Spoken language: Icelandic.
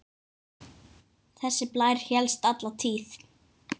Þessi blær hélst alla tíð.